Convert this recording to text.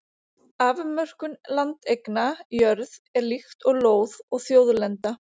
afmörkun landeigna jörð er líkt og lóð og þjóðlenda